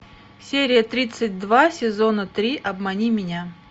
серия тридцать два сезона три обмани меня